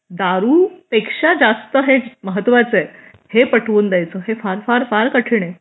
दारू पेक्षा जास्त हे महत्त्वाचं हे पटवून द्यायचं हे फार फार कठीण आहे